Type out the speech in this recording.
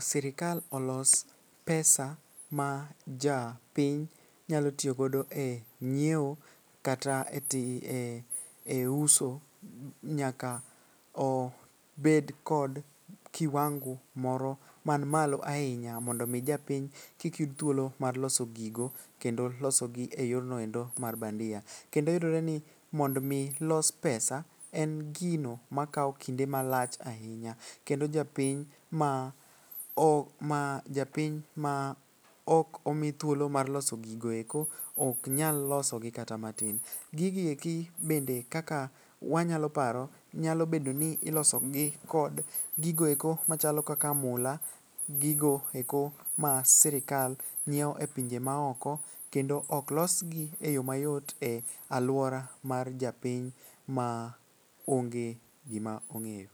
sirikal olos pesa, ma japiny nyalo tiyogodo e nyieo kata e uso nyaka obed kod kiwango moro man malo ahinya mondo omi japiny kik yud thuolo mar loso gigo kendo losogi e yornoendo mar bandia . Kendo yudore ni mondo omi los pesa, en gino makawo kinde malach ahinya kendo japiny ma ok omi thuolo mar loso gigo eko oknyal losogi kata matin. Gigi eki bende kaka wanyalo paro nyalo bedo ni ilosogi kod gigoeko machalo kaka mula, gigoeko ma sirikal nyieo e pinje maoko kendo oklosgi e yo mayot e alwora mar japiny ma onge gima ong'eyo.